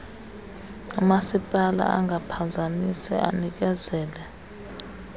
umasipala angaphazamisa unikezelo